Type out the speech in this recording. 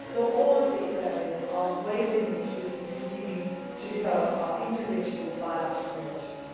So all of these areas are ways in which we can continue to develop our individual bilateral relations.